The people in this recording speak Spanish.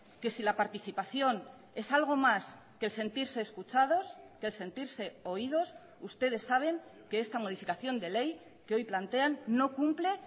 que si la participación es algo más que el sentirse escuchados que el sentirse oídos ustedes saben que esta modificación de ley que hoy plantean no cumple